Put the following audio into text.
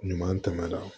Ɲuman tɛmɛna